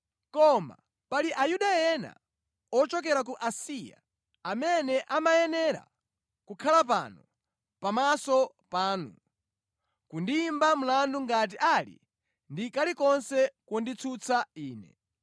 Koma pali Ayuda ena ochokera ku Asiya, amene amayenera kukhala pano pamaso panu, kundiyimba mlandu ngati ali ndi kalikonse konditsutsa ine.